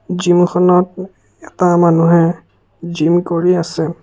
জিমখনত এটা মানুহে জিম কৰি আছে।